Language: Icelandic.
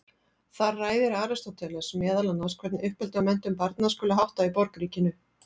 Þar ræðir Aristóteles meðal annars hvernig uppeldi og menntun barna skuli háttað í borgríkinu.